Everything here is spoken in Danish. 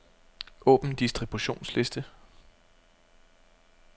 Åbn distributionsliste.